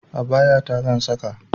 Abaya ta zan saka